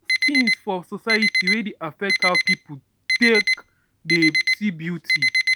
things for society wey dey affect how pipo take dey see beauty